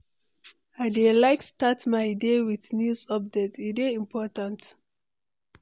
I dey like start my day with news updates, e dey important.